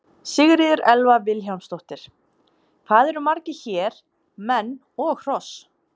Sigríður Elva Vilhjálmsdóttir: Hvað eru margir hér, menn og hross?